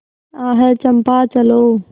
आह चंपा चलो